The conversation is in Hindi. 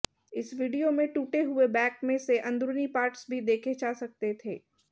इस विडियो में टूटे हुए बैक में से अंदरूनी पार्ट्स भी देखे जा सकते थे